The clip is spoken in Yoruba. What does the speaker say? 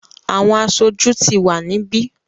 àwọn aṣojú ti wà níbí.